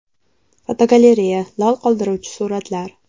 Fotogalereya: Lol qoldiruvchi suratlar.